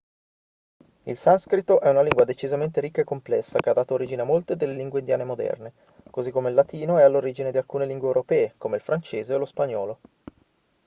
il sanscrito è una lingua decisamente ricca e complessa che ha dato origine a molte delle lingue indiane moderne così come il latino è all'origine di alcune lingue europee come il francese e lo spagnolo